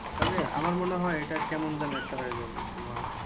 তবে আমার মনে হয় এটা কেমন যেন একটা হয়ে যাবে তোমার ।